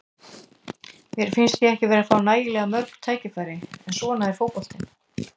Mér fannst ég ekki vera að fá nægilega mörg tækifæri, en svona er fótboltinn.